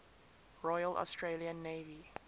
royal australian navy